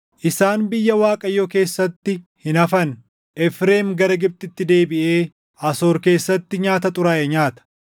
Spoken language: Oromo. Isaan biyya Waaqayyoo keessatti hin hafan; Efreem gara Gibxitti deebiʼee Asoor keessatti nyaata xuraaʼe nyaata.